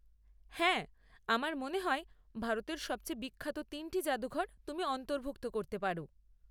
হ্যাঁ! আমার মনে হয় ভারতের সবচেয়ে বিখ্যাত তিনটি জাদুঘর তুমি অন্তর্ভুক্ত করতে পার।